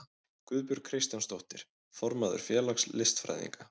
Guðbjörg Kristjánsdóttir, formaður félags listfræðinga.